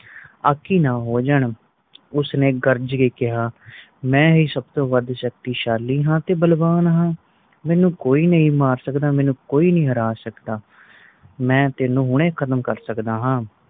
ਆਖਿ ਨਾ ਹੋ ਜਨ ਉਸ ਨੇ ਗਰਜ ਕ ਕਿਹਾ ਮੈ ਹੀ ਸਬ ਤੋਂ ਵਾਦ ਸ਼ਕਤੀਸ਼ਾਲੀ ਤੇ ਬਲਵਾਨ ਹਾਂ ਮੈਨੂੰ ਕੋਈ ਨਹੀਂ ਮਾਰ ਸਕਦਾ ਮੈਨੂੰ ਕੋਈ ਨਹੀਂ ਹਰਾ ਸਕਦਾ ਮੈ ਤੈਨੂੰ ਹੁਣੇ ਖਤਮ ਕਰ ਸਕਦਾ ਹਾਂ